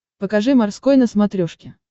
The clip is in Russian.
покажи морской на смотрешке